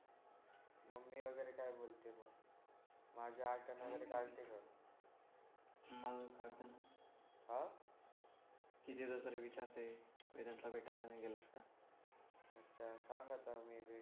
माझी आठवण वगैरे काढते का मग काढते ना हो कितीदा तरी विचारते वीनीतला भेटायला नाही गेलास का आजच्या चांगलाच आहे मग